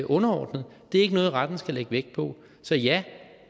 underordnet det er ikke noget retten skal lægge vægt på så ja